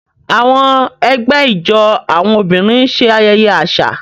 Àwọn ẹgbẹ́ ijó àwọn obìnrin ń ṣe ayẹyẹ àṣà.